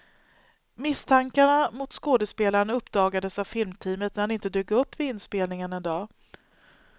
Misstankarna mot skådespelaren uppdagades av filmteamet när han inte dök upp vid inspelningen en dag.